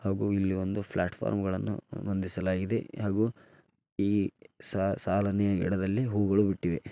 ಹಾಗೂ ಇಲ್ಲಿ ಒಂದು ಪ್ಲಾಟ್ಫಾರ್ಮ್ ಗಳನ್ನು ಹೊಂದಿಸಲಾಗಿದೆ ಹಾಗೂ ಈ ಸಾಲುನೇ ಹೂಗಳ ಬಿಟ್ಟಿವೆ .